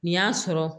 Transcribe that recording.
Nin y'a sɔrɔ